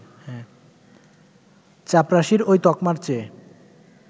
চাপরাশির ওই তকমার চেয়ে